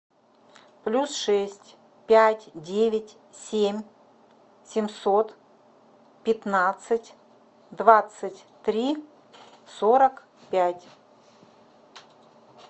плюс шесть пять девять семь семьсот пятнадцать двадцать три сорок пять